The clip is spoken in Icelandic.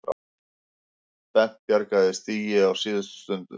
Bent bjargaði stigi á síðustu stundu